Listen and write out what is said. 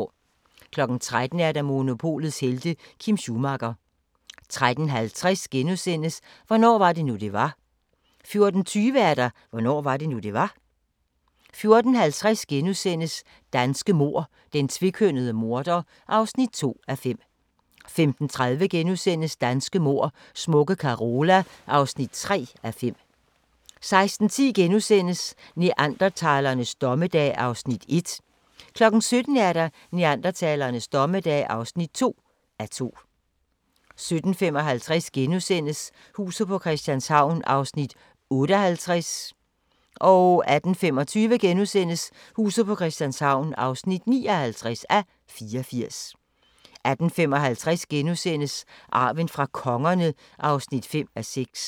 13:00: Monopolets helte - Kim Schumacher 13:50: Hvornår var det nu det var * 14:20: Hvornår var det nu, det var? 14:50: Danske mord: Den tvekønnede morder (2:5)* 15:30: Danske mord: Smukke Carola (3:5)* 16:10: Neandertalernes dommedag (1:2)* 17:00: Neandertalernes dommedag (2:2) 17:55: Huset på Christianshavn (58:84)* 18:25: Huset på Christianshavn (59:84)* 18:55: Arven fra kongerne (5:6)*